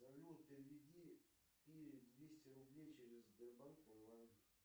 салют переведи ире двести рублей через сбербанк онлайн